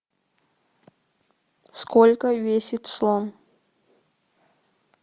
сколько весит слон